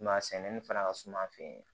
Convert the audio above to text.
Ma sɛnɛni fana ka suma an fɛ yen